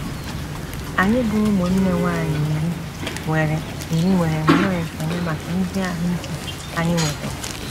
Anyị bụ́ ụmụnne nwanyị iri nwere iri nwere nnọọ ekele maka ezi ahụ ike anyị nwetụrụ.